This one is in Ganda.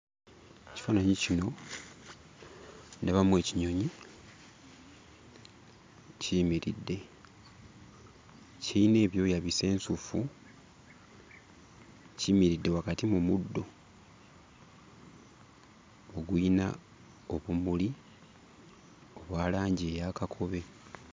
Ekifaananyi kino ndabamu ekinyonyi kiyimiridde. Kiyina ebyoya bisensufu, kiyimiridde wakati mu muddo oguyina obumuli obwa langi eya kakobe.